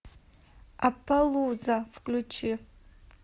аппалуза включи